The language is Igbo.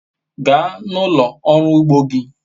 gaa n'ulo oru ugbo gi